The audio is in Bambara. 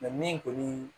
min kɔni